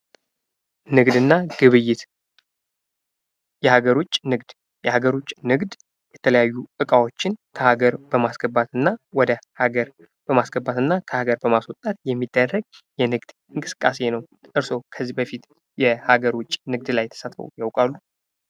ንግድ እና ግብይት፤ የሃገር ዉጭ ንግድ የሃገር ዉጭ ንግድ የተለያዩ እቃዎችን ከሃገር በማስገባት እና ወደ ሃገር በማስገባትና ከሃገር በማስወጣት የሚደረግ የንግድ እንቅስቃሴ ነው። እርሶ ከዚህ በፊት የሃገር ዉጭ ንግድ ላይ ተሳትፈው ያውቃሉ?